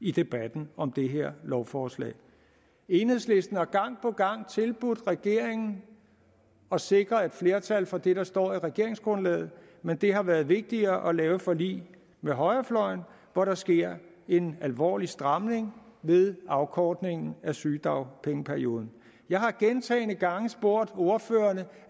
i debatten om det her lovforslag enhedslisten har gang på gang tilbudt regeringen at sikre et flertal for det der står i regeringsgrundlaget men det har været vigtigere at lave forlig med højrefløjen hvor der sker en alvorlig stramning ved afkortningen af sygedagpengeperioden jeg har gentagne gange spurgt ordførerne